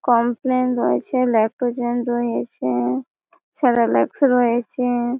complain রয়েছে Lactogen রয়েছ Cerelacs রয়েছে--